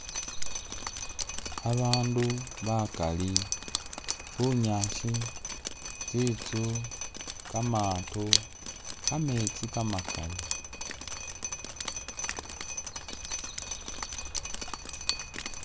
Babandu bakali, bunyaasi, tsi'tsu, kamaato, kametsi kamakali